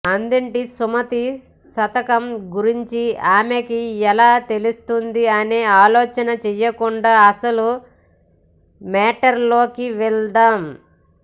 అదేంటి సుమతీ శతకం గురించి ఆమెకి ఎలా తెలుస్తుంది అనే ఆలోచన చేయకుండా అసలు మేటర్ లోకి వెళ్దాం